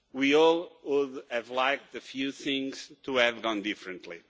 We all would have liked a few things to have gone differently.